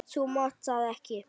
Þú mátt það ekki!